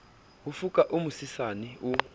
ho foka o mosesane o